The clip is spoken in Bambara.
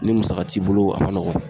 Ni musaka t'i bolo, a man nɔgɔn